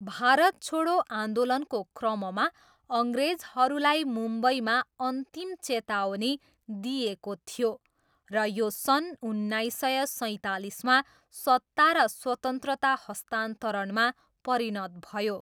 भारत छोडो आन्दोलनको क्रममा अङ्ग्रेजहरूलाई मुम्बईमा अन्तिम चेतावनी दिइएको थियो र यो सन् उन्नाइस सय सैँतालिसमा सत्ता र स्वतन्त्रता हस्तान्तरणमा परिणत भयो।